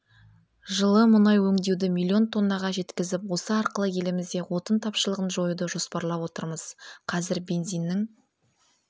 жылы мұнай өңдеуді миллион тоннаға жеткізіп осы арқылы елімізде отын тапшылығын жоюды жоспарлап отырмыз қазір бензиннің